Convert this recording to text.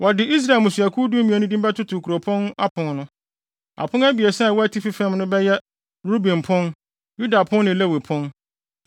wɔde Israel mmusuakuw dumien no din bɛtoto kuropɔn apon no. Apon abiɛsa a ɛwɔ atifi fam no bɛyɛ: Ruben pon, Yuda pon ne Lewi pon.